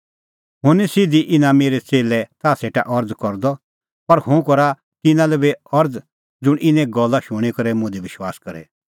हुंह निं सिधी इना मेरै च़ेल्लै लै ताह सेटा अरज़ करदअ पर हुंह करा तिन्नां लै बी अरज़ ज़ुंण इने गल्ला शूणीं करै मुंह दी विश्वास करे